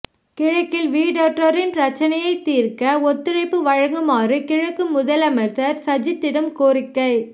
கிழக்கில் வீடற்றோரின் பிரச்சினையைத் தீர்க்க ஒத்துழைப்பு வழங்குமாறு கிழக்கு முதலமைச்சர் சஜித்திடம் கோரிக்கை